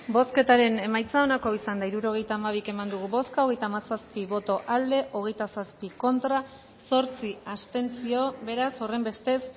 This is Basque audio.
bozketaren emaitza onako izan da hirurogeita hamabi eman dugu bozka hogeita hamazazpi boto aldekoa hogeita zazpi contra zortzi abstentzio beraz horrenbestez